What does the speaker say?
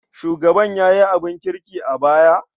Shugaban ya yi abin kirki a baya?